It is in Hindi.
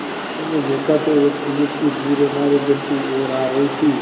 मैंने देखा तो एक पुलिस की जीप हमारे घर की ओर आ रही थी